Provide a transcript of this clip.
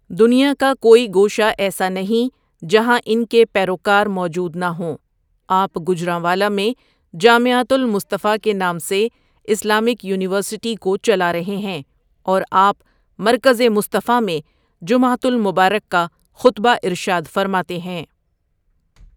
دنیا کا کوئی گوشہ ایسا نہیں جہاں ان کے پیروکار موجود نہ ہوں آپ گوجرانوالہ میں جامعتہ المصطفٰی کے نام سے اسلامک یونیورسٹی کو چلا رہے ہیں اور آپ مرکز مصطفٰی میں جمعتہ المبارک کا خطبہ ارشاد فرماتے ہیں۔